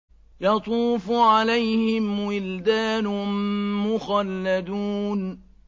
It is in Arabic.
يَطُوفُ عَلَيْهِمْ وِلْدَانٌ مُّخَلَّدُونَ